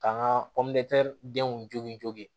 K'an ka denw jogin